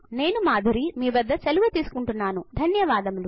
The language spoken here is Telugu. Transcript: నేను మాధురి మీ వద్ద సెలవు తెసుకున్తున్నానుధన్యవాదములు